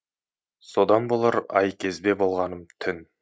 содан болар айкезбе болғаным түн